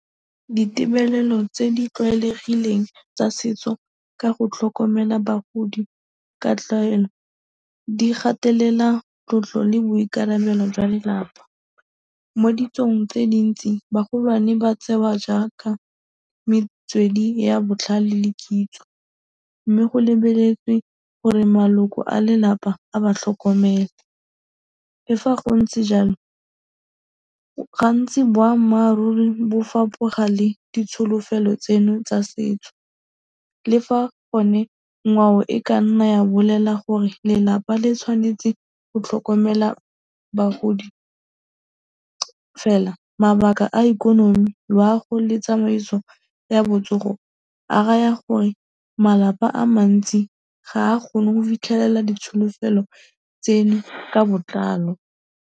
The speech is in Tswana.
Ditebelelo tse di tlwaelegileng tsa setso ka go tlhokomela bagodi ka tlwaelo di gatelela tlotlo le boikarabelo jwa lelapa. Mo ditsong tse di ntsi bagolwane ba tsewa jaaka metswedi ya botlhale le kitso mme go lebeletswe gore maloko a lelapa a ba tlhokomele. Le fa go ntse jalo, ga ntsi boammaaruri bo fapoga le ditsholofelo tseno tsa setso le fa gone ngwao e ka nna ya bolela gore lelapa le tshwanetse go tlhokomela bagodi. Fela, mabaka a ikonomi, loago le tsamaiso ya botsogo a raya gore malapa a mantsi ga a kgone go fitlhelela ditsholofelo tseno ka botlalo.